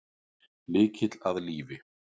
Lykill að lífi